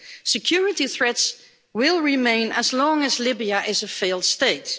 Security threats will remain as long as Libya is a failed state.